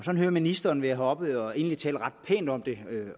at ministeren er heroppe og egentlig taler ret pænt om det